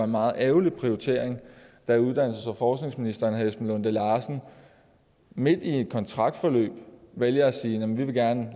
meget ærgerlig prioritering da uddannelses og forskningsminister esben lunde larsen midt i en kontraktperiode valgte at sige at man gerne